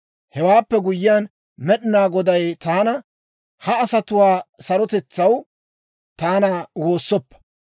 Hewaappe guyyiyaan, Med'inaa Goday taana; «Ha asatuwaa sarotetsaw taana woossoppa.